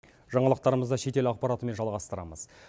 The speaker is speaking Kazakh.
жаңалықтарымызды шетел ақпаратымен жалғастырамыз